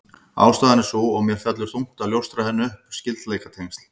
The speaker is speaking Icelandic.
Ástæðan er sú, og mér fellur þungt að ljóstra henni upp: Skyldleikatengsl